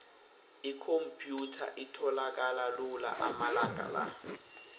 ikhomphyutha itholakala lula amalanga la